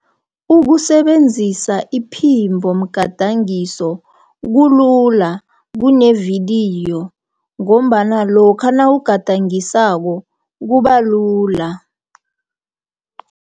Ukusebenzisa iphimbomgadangiso kulula, kunevidiyo, ngombana lokha nawugadangisako kubalula.